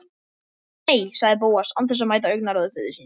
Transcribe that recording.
Nei- sagði Bóas án þess að mæta augnaráði föður síns.